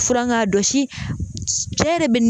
Fura k'a dɔsi cɛ yɛrɛ